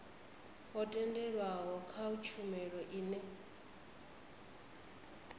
ho tendelwaho kha tshumelo ine